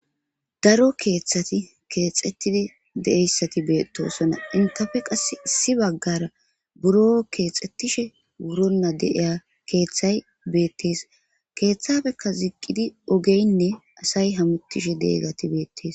Daro kethati kexetid de'iyaysati betosona. Entappe qase issi bagara buro kexetishe wuronta de'iya kethay betes. Kethapeka ziqid ogeyne asay hamutishe de'iyageti betes.